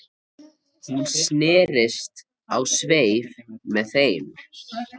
Hún snerist á sveif með þeim